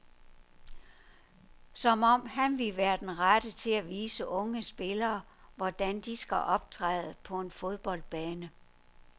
Som om han ville være den rette til at vise unge spillere, hvordan de skal optræde på en fodboldbane.